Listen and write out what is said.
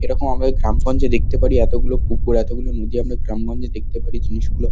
এরকম আমাদের গ্রাম গঞ্জে দেখতে পারি এতগুলো পুকুর এতগুলি নদী আমরা গ্রাম্গঞ্জে দেখতে পারি জিনিস গুলো।